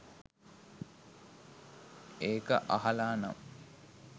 ඒක අහලා නම්